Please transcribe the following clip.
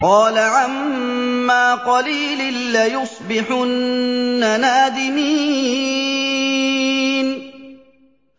قَالَ عَمَّا قَلِيلٍ لَّيُصْبِحُنَّ نَادِمِينَ